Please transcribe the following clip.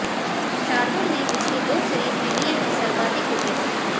शार्दुल ने पिछली दो सीरीज में लिए हैं सर्वाधिक विकेट